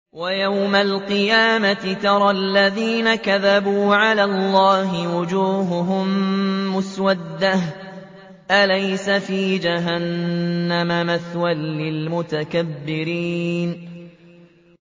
وَيَوْمَ الْقِيَامَةِ تَرَى الَّذِينَ كَذَبُوا عَلَى اللَّهِ وُجُوهُهُم مُّسْوَدَّةٌ ۚ أَلَيْسَ فِي جَهَنَّمَ مَثْوًى لِّلْمُتَكَبِّرِينَ